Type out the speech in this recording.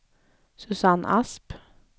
Susanne Asp